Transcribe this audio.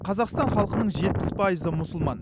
қазақстан халқының жетпіс пайызы мұсылман